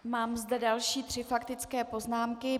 Mám zde další tři faktické poznámky.